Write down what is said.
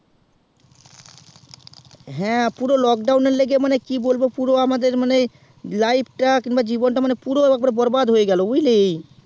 হ্যাঁ পুরো lockdown এর লেগে মানে কি বলবো আমাদের life তা বা জীবন তা বরবাদ হয়ে গেলো বুঝলে